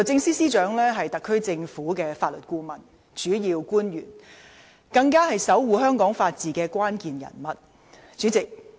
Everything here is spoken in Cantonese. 司長是特區政府的法律顧問及主要官員，更是守護香港法治的關鍵人物。